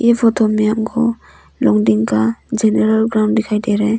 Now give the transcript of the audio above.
ये फोटो में हमको लॉन्गडिंग का जनरल ग्राउंड दिखाई दे रहा है।